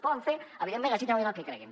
poden fer evidentment legítimament el que creguin